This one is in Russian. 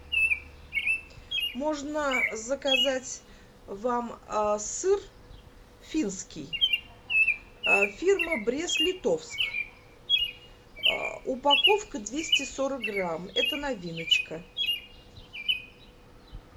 можно заказать вам сыр финский фирма брест литовск упаковка двести сорок грамм это новиночка